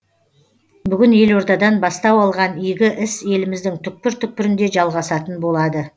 бүгін елордадан бастау алған игі іс еліміздің түкпір түкпірінде жалғасатын болады